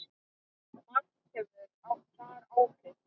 Margt hefur þar áhrif.